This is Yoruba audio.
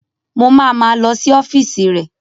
Mo ma ma lọ sí ọ́fíìsì rẹ̀